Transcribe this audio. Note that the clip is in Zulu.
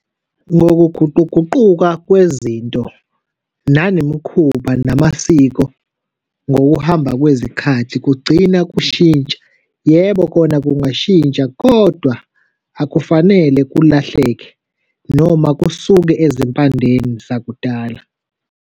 Ngokuguquguquka kwezinto nanemikhuba namasiko ngokuhamba kwezikhathi kugcina kushintsha. Yebo, kona kungashintsha kodwa akufanele kulahleke noma kusuke ezimpandeni zakudala.